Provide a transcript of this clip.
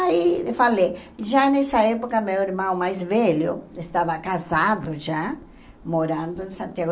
Aí eu falei, já nessa época meu irmão mais velho estava casado já, morando em Santiago.